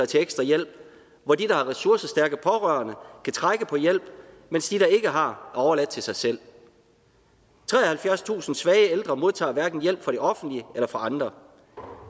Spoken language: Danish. til ekstra hjælp hvor de der har ressourcestærke pårørende kan trække på hjælp mens de der ikke har er overladt til sig selv treoghalvfjerdstusind svage ældre modtager hverken hjælp fra det offentlige eller fra andre